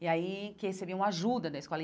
E aí, que recebiam ajuda da escola.